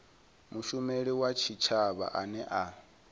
mushumeli wa tshitshavha ane a